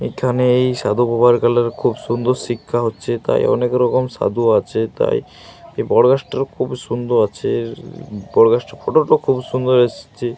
এখানেই সাধু বাবার কালে খুব সুন্দর শিক্ষা হচ্ছে তাই অনেক রকম সাধু আছে। তাই বড় গাছটা খুব সুন্দর আছে বড় গাছটার ফটো -টাও খুব সুন্দর এসেছে।